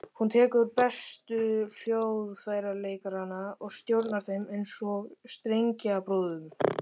Hún tekur bestu hljóðfæraleikarana og stjórnar þeim eins og strengjabrúðum.